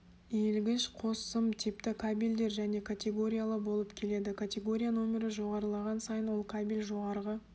иілгіш қос сым типті кабельдер және категориялы болып келеді категория нөмірі жоғарылаған сайын ол кабель жоғарғы